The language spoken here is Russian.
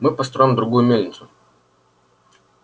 мы построим другую мельницу